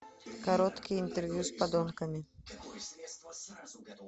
короткие интервью с подонками